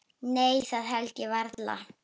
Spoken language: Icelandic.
Nei það held ég varla.